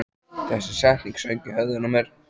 Þessi setning söng í höfðinu á mér.